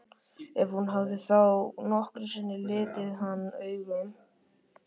Ef hún hafði þá nokkru sinni litið hann augum.